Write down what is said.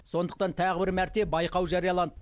сондықтан тағы бір мәрте байқау жарияланды